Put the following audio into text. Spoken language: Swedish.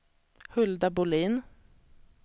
Hulda Bohlin